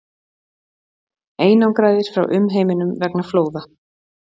Einangraðir frá umheiminum vegna flóða